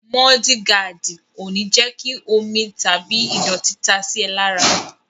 Mọ́ọ́dí gaàdì ò ní jẹ́ kí omi tàbí ìdọ̀tí ta sí ẹ lára.